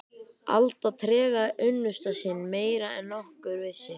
Alda tregaði unnusta sinn meira en nokkur vissi.